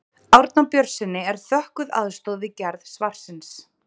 Árna Björnssyni er þökkuð aðstoð við gerð svarsins.